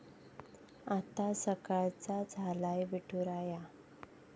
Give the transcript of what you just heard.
आता सकळांचा झालाय विठुराया!